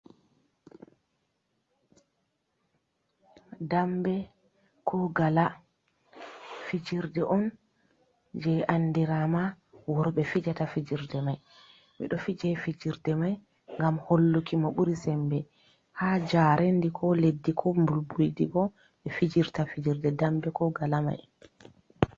Dambe ko gala, fijirde on jee andiraama, worɓe fijata fijirde mai. Ɓe ɗo fiije fijirde mai ngam holluki mo ɓuri sembe. Haa jaarendi, ko leddi, ko mbulbuldi boo, ɓe fijirta fijirde dambe ko gala mai.